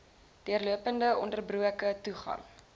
deurlopende ononderbroke toegang